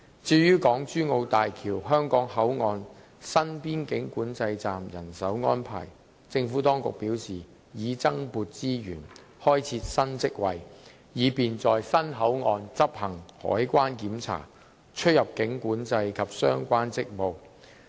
至於港珠澳大橋香港口岸新邊境管制站的人手安排，政府當局表示已增撥資源，開設新職位，以便在新口岸執行海關檢查、出入境管制及相關職務。